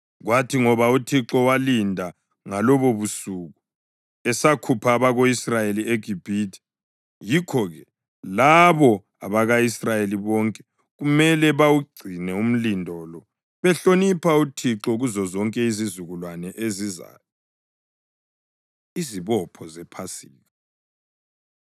Kwathi ngoba uThixo walinda ngalobobusuku esakhupha abako-Israyeli eGibhithe, yikho-ke labo abako-Israyeli bonke kumele bawugcine umlindo lo behlonipha uThixo kuzozonke izizukulwane ezizayo. Izibopho ZePhasika